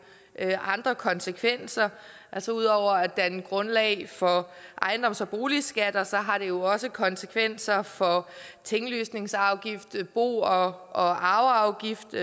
andre konsekvenser altså ud over at danne grundlag for ejendoms og boligskatter har det jo også konsekvenser for tinglysningsafgift bo og og arveafgift